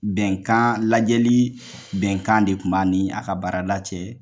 Bɛnkan lajɛli bɛnkan de kun b'a ni a ka baarada cɛ.